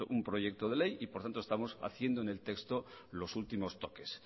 un proyecto de ley y por tanto estamos haciendo en el texto los últimos toques